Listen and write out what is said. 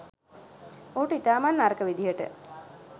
ඔහුට ඉතාමත් නරක විදිහට